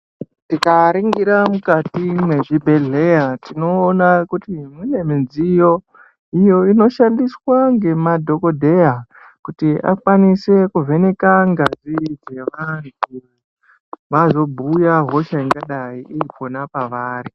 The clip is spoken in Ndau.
Tikaringira mukati mwezvibhehleya tinoona kuti mune midziyo iyo inoshandiswa ngemadhogodheya kuti akwanise kuvheneka ngazi dzevantu, vazobhuya hosha ingadayi iripona pavari.